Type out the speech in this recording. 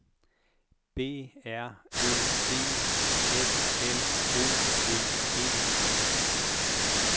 B R Ø D F L O V E